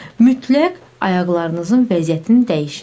Mütləq ayaqlarınızın vəziyyətini dəyişin.